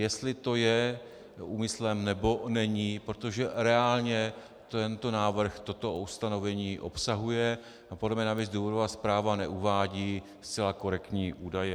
Jestli to je úmyslem, nebo není, protože reálně tento návrh toto ustanovení obsahuje, a podle mě navíc důvodová zpráva neuvádí zcela korektní údaje.